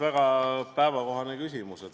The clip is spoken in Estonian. Väga päevakohane küsimus.